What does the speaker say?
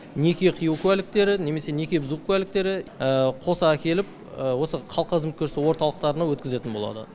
халыққа қызмет көрсету орталықтарына өткізетін болады